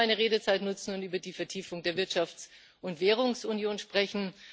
Ich möchte meine Redezeit dafür nutzen, um über die Vertiefung der Wirtschafts und Währungsunion zu sprechen.